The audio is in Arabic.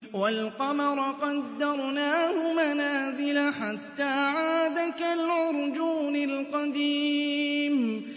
وَالْقَمَرَ قَدَّرْنَاهُ مَنَازِلَ حَتَّىٰ عَادَ كَالْعُرْجُونِ الْقَدِيمِ